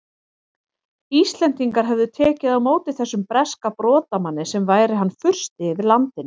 Íslendingar hefðu tekið á móti þessum breska brotamanni sem væri hann fursti yfir landinu!